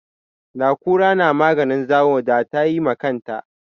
Da kura na maganin zawo da tayi ma kanta